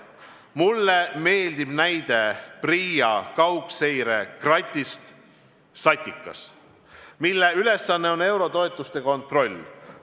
Mulle meeldib näide PRIA kaugseire kratist SATIKAS, mille ülesanne on eurotoetuste kontroll.